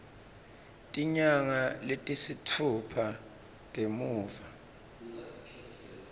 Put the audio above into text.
tinyanga letisitfupha ngemuva